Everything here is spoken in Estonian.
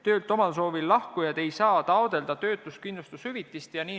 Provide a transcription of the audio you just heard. Töölt omal soovil lahkujad ei saa taotleda töötuskindlustushüvitist.